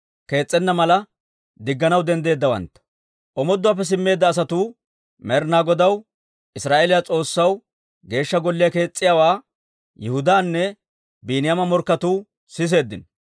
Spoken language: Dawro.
Omooduwaappe simmeedda asatuu Med'ina Godaw, Israa'eeliyaa S'oossaw Geeshsha Golliyaa kees's'iyaawaa Yihudaanne Biiniyaama morkketuu siseeddino.